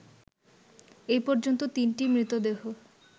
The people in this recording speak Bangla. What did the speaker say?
এ পর্যন্ত তিনটি মৃতদেহ